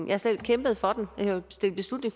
jeg selv har kæmpet for den